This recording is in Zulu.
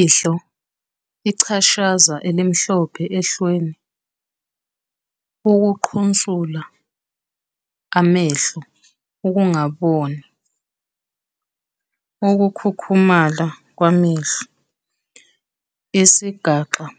Ihlo- Ichashaza elimhlophe ehlweni, ukuqhunsula amehlo, ukungaboni, ukukhukhumala kwamehlo. Isigaxa-